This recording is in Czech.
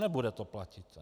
Nebude to platit.